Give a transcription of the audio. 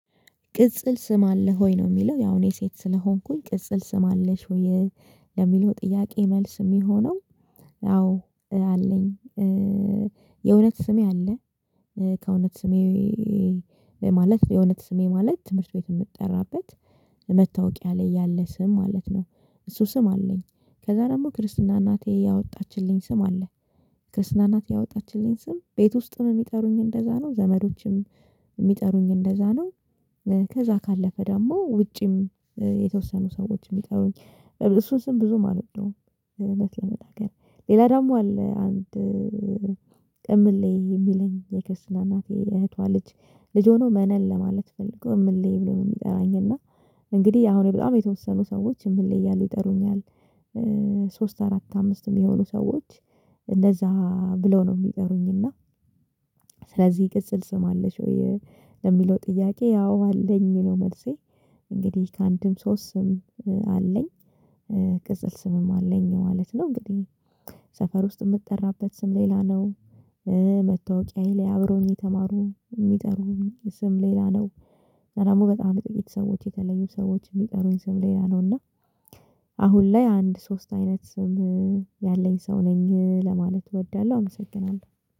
ቅጽል ስም አለ ሆይ ነው የሚለው ያው እኔ ሴት ስለሆንኩኝ ቅጽል ስም አለሽ ሆይ ለሚለው ጥያቄ መልስ የሚሆነው አዎ አለኝ። የእውነት ስሜ አለ ከእውነት ስሜ ማለት የእውነት ስሜ ማለት ትምህርት ቤት የምትጠራበት መታወቂያ ላይ ያለ ስም ማለት ነው። እሱ ስም አለኝ ከዛ ደግሞ ክርስትና እናቴ ያወጣችልኝ ስም አለ። ክርስትና እናቴ ያወጣችልኝ ስም ቤት ውስጥም የሚጠሩኝ እንደዛ ነው። ዘመዶችም የሚጠሩኝ እንደዛ ነው። ከዛ ካለፈ ደግሞ ውጪም የተወሰኑ ሰዎችም ይጠሩኝ እሱን ስም ብዙ አልወደውም። እውነት ለመናገር ሌላ ደግሞ አለ አንድ ቅምሌ የሚሉኝ የክርስትና እናቴ እህቷ ልጅ ልጅ ሆኖ መነን ለማለት ፈልገው ምንሌ ብሎ የሚጠራኝ እና እንግዲህ አሁን በጣም የተወሰኑ ሰዎች ምን ላይ እያሉ ይጠሩኛል። ሶስት አራት አምስት የሚሆኑ ሰዎች እንደዛ ብለው ነው የሚጠሩኝ እና ስለዚህ ቅጽል ስም አለሽ ወይ? ለሚለው ጥያቄ ያው አለኝ ነው መልሴ። እንግዲህ ከአንድም ሶስት ስም አለኝ። ቅጽል ስምም አለኝ ማለት ነው እንግዲህ ሰፈር ውስጥ የምትጠራበት ስም ሌላ ነው። መታወቂያዬ ላይ አብሮኝ የተማሩ የሚጠሩኝ ስም ሌላ ነው። ደግሞ በጣም ጥቂት ሰዎች የተለዩ ሰዎች የሚጠሩኝ ስም ሌላ ነው እና። አሁን ላይ አንድ ሶስት አይነት ስም ያለኝ ሰው ነኝ ለማለት እወዳለሁ አመሰግናለሁ።